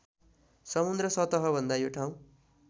समुद्र सतहभन्दा यो ठाउँ